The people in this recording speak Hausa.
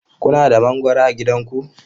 Kuna da mangwaro a gidanku?